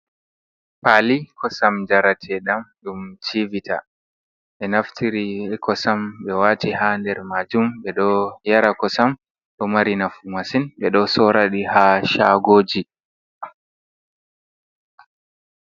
Paali kosam njarateɗam ɗum civita. Ɓe naftiri kosam, be waati ha nder majum, ɓe ɗo yara kosam, ɗo mari nafu masin. Ɓe ɗo soora ɗi ha shaagoji.